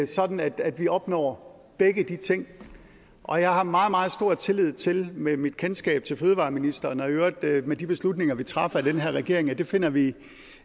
sådan at at vi opnår begge de ting og jeg har meget meget stor tillid til med mit kendskab til fødevareministeren og i øvrigt med de beslutninger vi træffer den her regering at det finder vi